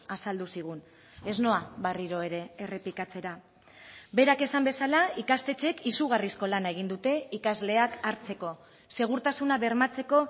azaldu zigun ez noa berriro ere errepikatzera berak esan bezala ikastetxeek izugarrizko lana egin dute ikasleak hartzeko segurtasuna bermatzeko